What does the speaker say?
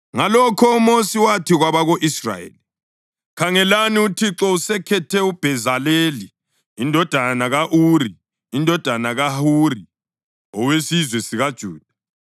Ngalokho uMosi wathi kwabako-Israyeli, “Khangelani, uThixo usekhethe uBhezaleli indodana ka-Uri, indodana kaHuri, owesizwe sikaJuda,